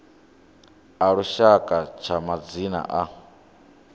a lushaka tsha madzina a